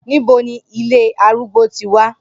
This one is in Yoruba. Nibo ni ile arùgbó ti wa?